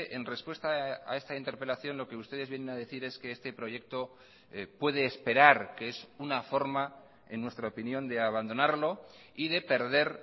en respuesta a esta interpelación lo que ustedes vienen a decir es que este proyecto puede esperar que es una forma en nuestra opinión de abandonarlo y de perder